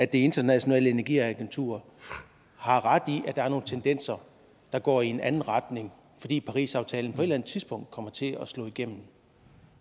det internationale energiagentur har ret i at der er nogle tendenser der går i en anden retning fordi parisaftalen på et eller andet tidspunkt kommer til at slå igennem